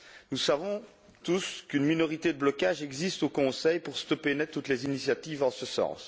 Nous savons tous qu'une minorité de blocage existe au Conseil pour stopper net toutes les initiatives en ce sens.